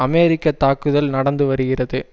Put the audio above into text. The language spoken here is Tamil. அமெரிக்க தாக்குதல் நடந்து வருகிறது